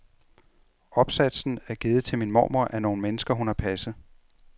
Opsatsen er givet til min mormor af nogle mennesker, hun har passet.